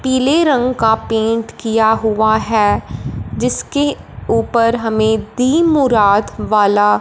पीले रंग का पेंट किया हुआ है जिसके ऊपर हमें दी मुराद वाला--